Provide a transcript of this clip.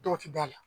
Dɔ ti d'a la